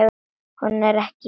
Hún er ekki mín.